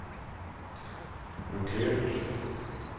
blokkert